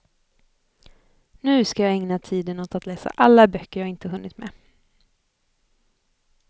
Nu ska jag ägna tiden åt att läsa alla böcker jag inte hunnit med.